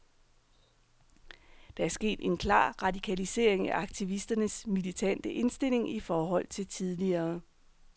Der er sket en klar radikalisering af aktivisternes militante indstilling i forhold til tidligere.